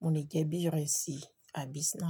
mo lè jẹ bíi ìrẹsì àbí snack.